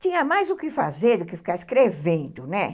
Tinha mais o que fazer do que ficar escrevendo, né?